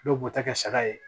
N'o b'o ta kɛ saga ye